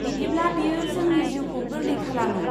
बिदिब्ला बेयो जोंनि जिउखौ गोरलै खालामो।